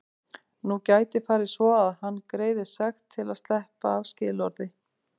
Nú gæti farið svo að hann greiði sekt til að sleppa af skilorði.